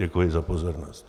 Děkuji za pozornost.